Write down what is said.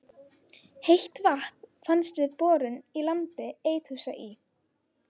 Heitt vatn fannst við borun í landi Eiðhúsa í